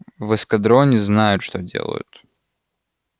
в эскадроне знают что делают